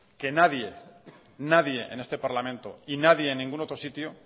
que nadie en este parlamento y nadie en ningún otro sitio